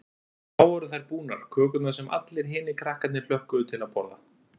Þá voru þær búnar, kökurnar sem allir hinir krakkarnir hlökkuðu til að borða.